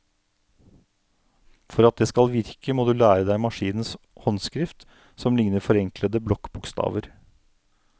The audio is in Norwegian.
For at det skal virke, må du lære deg maskinens håndskrift, som ligner forenklede blokkbokstaver.